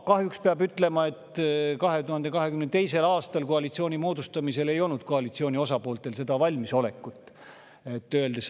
Kahjuks peab ütlema, et 2022. aastal koalitsiooni moodustamisel ei olnud koalitsiooni osapooltel seda valmisolekut.